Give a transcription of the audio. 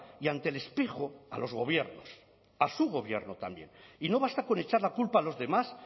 y ante el espejo a los gobiernos a su gobierno también y no basta con echar la culpa a los demás